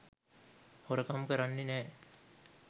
හොරකම් කරන්නෙ නෑ.